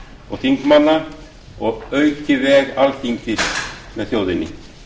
og þingmanna og auki veg alþingis með þjóðinni